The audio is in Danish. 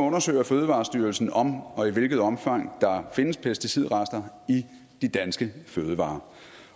undersøger fødevarestyrelsen om og i hvilket omfang der findes pesticidrester i de danske fødevarer